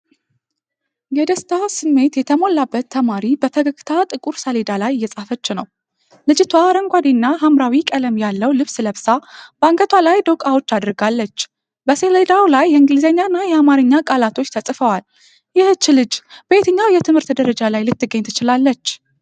የደስታ ስሜት የተሞላባት ተማሪ በፈገግታ ጥቁር ሰሌዳ ላይ እየጻፈች ነው። ልጅቷ አረንጓዴና ሐምራዊ ቀለም ያለው ልብስ ለብሳ በአንገቷ ላይ ዶቃዎች አድርጋለች። በሰሌዳው ላይ የእንግሊዝኛና የአማርኛ ቃላቶች ተጽፈዋል። ይህች ልጅ በየትኛው የትምህርት ደረጃ ላይ ልትገኝ ትችላለች?